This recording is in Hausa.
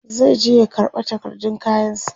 zai je ya karɓa takardun kayan sa